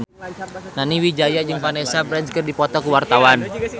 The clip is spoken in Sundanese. Nani Wijaya jeung Vanessa Branch keur dipoto ku wartawan